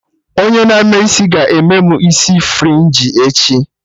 Onye na-eme isi ga-eme mụ isi frinji echi